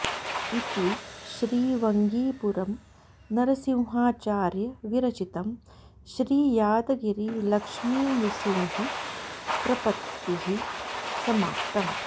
इति श्री वंगीपुरम् नरसिंहाचार्य विरचितं श्री यादगिरि लक्ष्मीनृसिंह प्रपत्तिः समाप्तं